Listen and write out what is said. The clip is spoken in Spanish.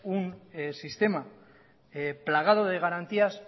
un sistema plagado de garantías